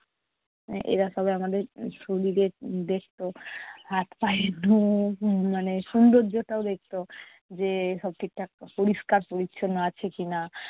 এরা সবাই আমাদের শরীরের উম দেখতো। হাত পায়ের নখ মানে সৌন্দর্যটাও দেখতো। যে সব ঠিকঠাক পরিষ্কার পরিচ্ছন্ন আছে কি-না।